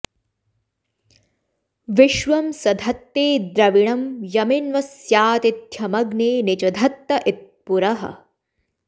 विश्वं स धत्ते द्रविणं यमिन्वस्यातिथ्यमग्ने नि च धत्त इत्पुरः